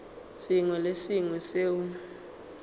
sengwe le se sengwe seo